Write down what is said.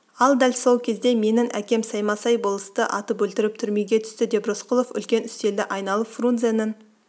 ал дәл сол кезде менің әкем саймасай болысты атып өлтіріп түрмеге түсті деп рысқұлов үлкен үстелді айналып фрунзенің